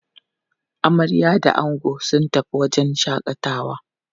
Amarya da ango sun tafi wajen shaƙatawa.